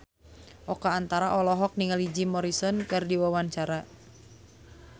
Oka Antara olohok ningali Jim Morrison keur diwawancara